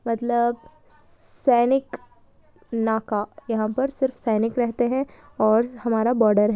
मतलब सैनिक नाका यहाँ पर सिर्फ सैनिक रहते हैं और हमारा बॉर्डर है।